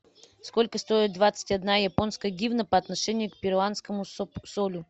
сколько стоит двадцать одна японская гивна по отношению к перуанскому солю